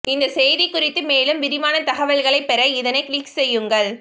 இந்த செய்தி குறித்து மேலும் விரிவான தகவல்களை பெற இதனை கிளிக் செய்யுங்கள்